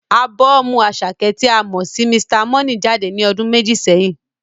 Ábọ́ọ̀mù Àṣàkẹ́ tí a mọ sí Mr. Money jáde ní ọdún méjì sẹ́yìn.